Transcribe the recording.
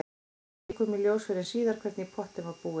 Ekki kom í ljós fyrr en síðar hvernig í pottinn var búið.